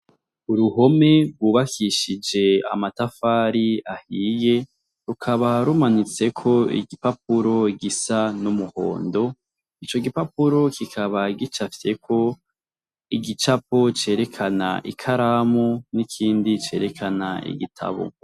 Uruhome rwubakishije amatafari ahiye rukaba rumanitseko igipapuro gisa n'umuhondo, ico gipapuro kikaba gicafyeko igicapo cerekana ikaramu n'ikindi cerekana igitabo.